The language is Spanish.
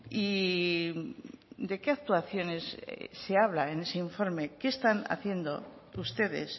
y de qué actuaciones se habla en ese informe qué están haciendo ustedes